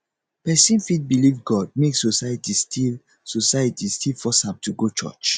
pesin fit belief god make society still society still force am to go church